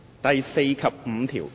第4及5條。